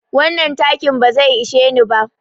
Wannan takin ba zai ishe ni ba.